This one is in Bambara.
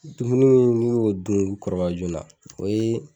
Dumuni mun n'u y'u dun u be kɔrɔbaya joona na o ye